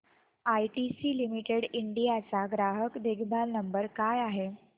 ITC limited India चा ग्राहक देखभाल नंबर काय आहे